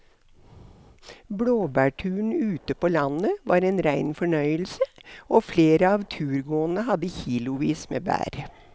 Blåbærturen ute på landet var en rein fornøyelse og flere av turgåerene hadde kilosvis med bær.